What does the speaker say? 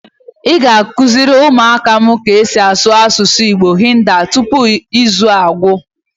Ị ghari ịkuziri ụmụ áká m ka esi asụ asụsụ Hindi tupu izu a agwụ!